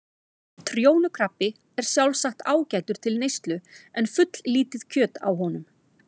Trjónukrabbi er sjálfsagt ágætur til neyslu en fulllítið kjöt á honum.